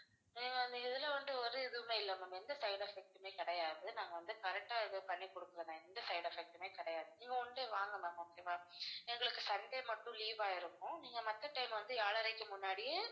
ஹம் அந்த இதுல வந்து ஒரு இதுவுமே இல்லை ma'am எந்த side effect உமே கிடையாது நாங்க வந்து correct ஆ இது பண்ணி கொடுக்கிறோம் ma'am எந்த side effect உமே கிடையாது நீங்க one day வாங்க ma'am okay வா எங்களுக்கு sunday மட்டும் leave ஆ இருக்கும் நீங்க மத்த time வந்து ஏழரைக்கு முன்னாடியே